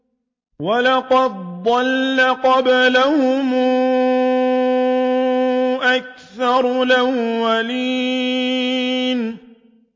وَلَقَدْ ضَلَّ قَبْلَهُمْ أَكْثَرُ الْأَوَّلِينَ